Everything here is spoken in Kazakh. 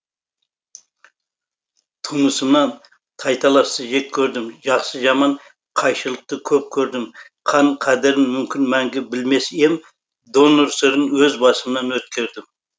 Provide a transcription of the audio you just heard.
тумысымнан тайталасты жек көрдім жақсы жаман қайшылықты көп көрдім қан қадірін мүмкін мәңгі білмес ем донор сырын өз басымнан өткердім